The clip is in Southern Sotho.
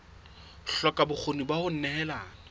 hloka bokgoni ba ho nehelana